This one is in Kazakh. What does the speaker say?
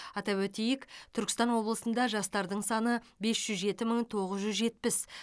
атап өтейік түркістан облысында жастардың саны бес жүз жеті мың тоғыз жүз жетпіс